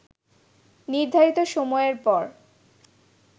নির্ধারিত সময়ের পর